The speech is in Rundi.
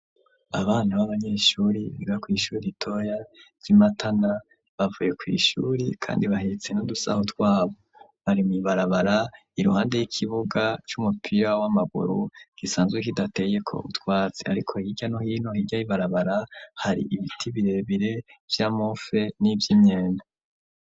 Abana b'abanyeshuri biga kw'ishure ritoya ryi Matana bavuye kw'ishuri kandi bahetse n'udusaho twabo. Bari mw'ibarabara iruhande y'ikibuga c'uumupira w'amaguru gisanzwe kihateyeko utwatsi ariko hirya no hino hirya ibarabara hari ibiti birebire vy'amofe n'ivy'imyembe.